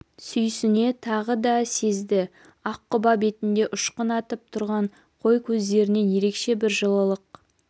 сүйісіне тағы да сезді ақ құба бетінде ұшқын атып тұрған қой көздерінен ерекше бір жылылық